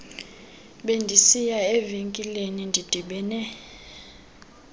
bendisiya evenkileni ndidibene